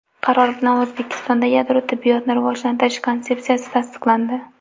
Qaror bilan O‘zbekistonda yadro tibbiyotni rivojlantirish konsepsiyasi tasdiqlandi.